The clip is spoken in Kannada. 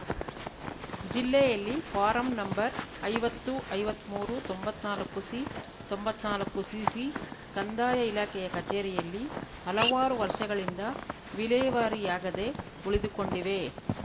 ಜಿಲ್ಲೆಯಲ್ಲಿ ಫಾರಂ ನಂಬರ್‌ ಐವತ್ತು ಐವತ್ಮೂರು ತೊಂಬತ್ನಾಲ್ಕುಸಿ ತೊಂಬತ್ನಾಲ್ಕುಸಿಸಿ ಕಂದಾಯ ಇಲಾಖೆಯ ಕಚೇರಿಯಲ್ಲಿ ಹಲವಾರು ವರ್ಷಗಳಿಂದ ವಿಲೇವಾರಿಯಾಗದೆ ಉಳಿದುಕೊಂಡಿವೆ